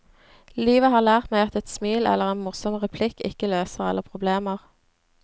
Livet har lært meg at et smil eller en morsom replikk ikke løser alle problemer.